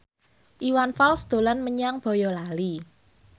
Iwan Fals dolan menyang Boyolali